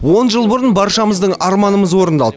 он жыл бұрын баршамыздың арманымыз орындалды